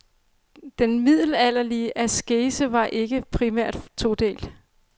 Den middelalderlige askese var ikke primært todelt.